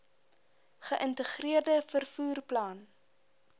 geïntegreerde vervoer plan